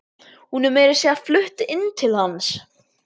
Hún er meira að segja flutt inn til hans.